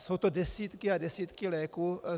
Jsou to desítky a desítky léků.